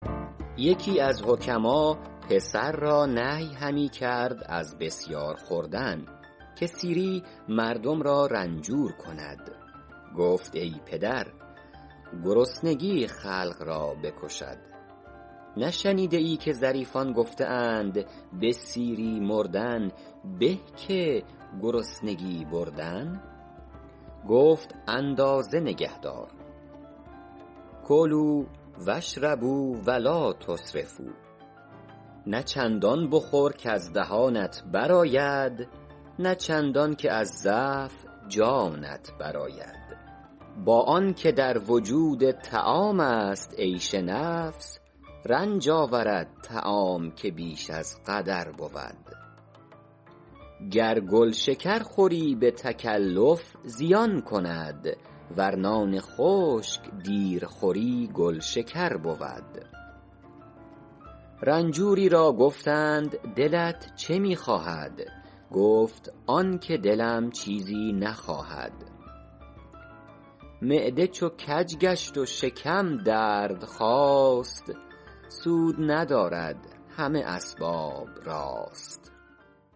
یکی از حکما پسر را نهی همی کرد از بسیار خوردن که سیری مردم را رنجور کند گفت ای پدر گرسنگی خلق را بکشد نشنیده ای که ظریفان گفته اند به سیری مردن به که گرسنگی بردن گفت اندازه نگهدار کلوا و اشربوا و لٰا تسرفوا نه چندان بخور کز دهانت بر آید نه چندان که از ضعف جانت بر آید با آن که در وجود طعام است عیش نفس رنج آورد طعام که بیش از قدر بود گر گل شکر خوری به تکلف زیان کند ور نان خشک دیر خوری گل شکر بود رنجوری را گفتند دلت چه می خواهد گفت آن که دلم چیزی نخواهد معده چو کج گشت و شکم درد خاست سود ندارد همه اسباب راست